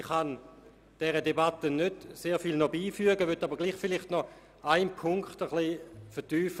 Ich kann der Debatte nicht mehr sehr viel beifügen, möchte aber einen Punkt noch etwas vertiefen.